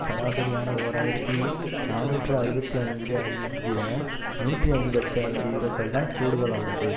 சராசரியான ஓர் ஆயிரத்தி நாநூற்று அறுபத்தி ஐந்து ஐ விட நூற்றி ஐம்பத்தி ஐந்து யூரோக்கள்தான் கூடுதலானது